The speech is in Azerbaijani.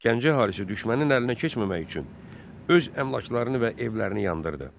Gəncə əhalisi düşmənin əlinə keçməmək üçün öz əmlaklarını və evlərini yandırdı.